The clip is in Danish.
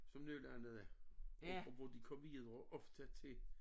Som nødlandede og hvor de kom videre ofte til